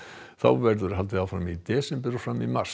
þá verður haldið áfram í desember og fram í mars